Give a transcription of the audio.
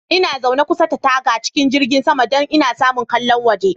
Ina zaune kusa da taga cikin jirgin saman, don in samu ƙallon waje.